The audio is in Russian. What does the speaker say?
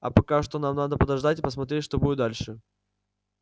а пока что надо подождать и посмотреть что будет дальше